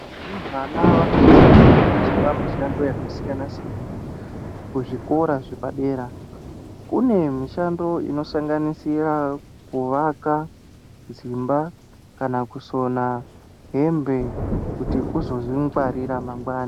Varumbwana vanosisa kufundiswa mushando yakasiyana -siyana kuzvikora zvepadera. Kune mishando inosanganisira kuvaka dzimba, kana kusona hembe kuti uzozvingwarira mangwani.